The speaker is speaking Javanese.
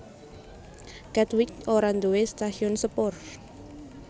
Katwijk ora nduwé stasiun sepur